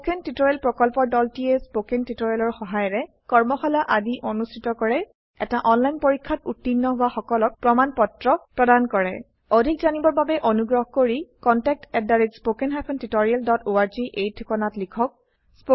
spoken tutorial প্ৰকল্পৰ দলটিয়ে spoken tutorial সহায়িকাৰে কৰ্মশালা আদি অনুষ্ঠিত কৰে এটা অনলাইন পৰীক্ষাত উত্তীৰ্ণ হোৱা সকলক প্ৰমাণ পত্ৰ প্ৰদান কৰে অধিক জানিবৰ বাবে অনুগ্ৰহ কৰি contactspoken tutorialorg এই ঠিকনাত লিখক